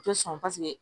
U tɛ sɔn paseke